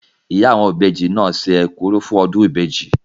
Ìyá àwọn ìbejì náà se ekuru fún ọdún ìbejì.